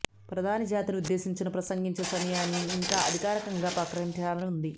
ప్రధాని జాతిని ఉద్దేశించిన ప్రసంగించే సమయాన్ని ఇంకా అధికారికంగా ప్రకటించాల్సి ఉంది